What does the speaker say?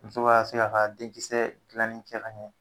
Muso ka se k'a ka denkisɛ dilanin kɛ ɲɛ